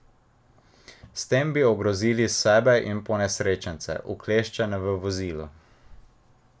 S tem bi ogrozili sebe in ponesrečence, ukleščene v vozilu.